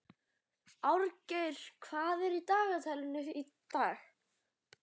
Árgeir, hvað er í dagatalinu í dag?